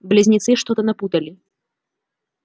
близнецы что-то напутали